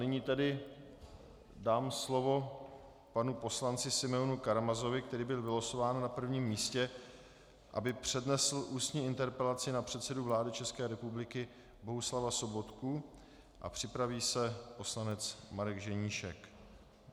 Nyní tedy dám slovo panu poslanci Simeonu Karamazovi, který byl vylosován na prvním místě, aby přednesl ústní interpelaci na předsedu vlády České republiky Bohuslava Sobotku, a připraví se poslanec Marek Ženíšek.